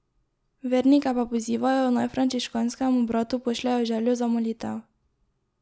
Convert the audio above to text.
Vernike pa pozivajo, naj frančiškanskemu bratu pošljejo željo za molitev.